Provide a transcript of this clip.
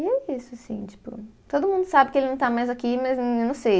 E é isso, assim, tipo, todo mundo sabe que ele não está mais aqui, mas eu não sei...